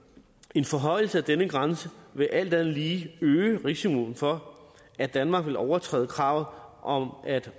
en forhøjelse af denne grænse vil alt andet lige øge risikoen for at danmark vil overskride kravet om om at